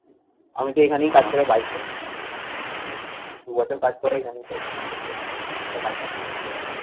আমিতো এইখানেই কাজ করে bike করতে চাই। দু বছর কাজ করে এখানেই তো